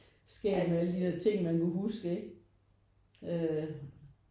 Skægt med alle de der ting man kan huske ikke øh